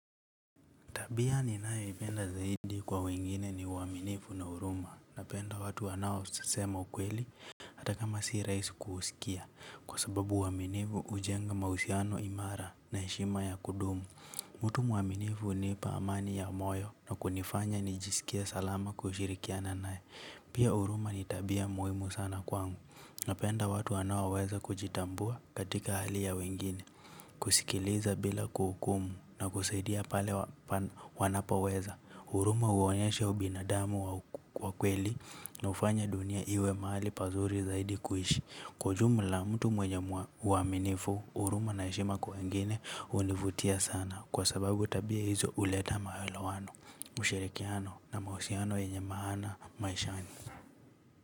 Bia ni nae ipenda zaidi kwa wengine ni waaminifu na uruma. Napenda watu wanao sasema ukweli hataka masi rahisi kuusikia. Kwa sababu uwaminifu ujenga mausiano imara na heshima ya kudumu. Mtu mwaminifu nipa amani ya moyo na kunifanya nijisikie salama kushirikia na nae. Pia uruma nitabia muhimu sana kwangu. Napenda watu wanaoweza kujitambua katika hali ya wengine. Kusikiliza bila kuhukumu na kusaidia pale wanapoweza. Uruma huonyesha ubinadamu wakweli na ufanya dunia iwe mahali pazuri zaidi kuhishi. Kwajumu la mtu mwenye uaminifu, uruma naheshima kwa wengine univutia sana. Kwa sababu tabia hizo uleta maele wano ushirikiano na mahusiano yenye maana maishani.